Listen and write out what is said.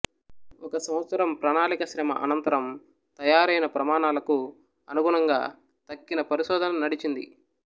ఒక సంవత్సరం ప్రణాళిక శ్రమ అనంతరం తయారైన ప్రమాణాలకు అనుగుణంగా తక్కిన పరిశోధన నడిచింది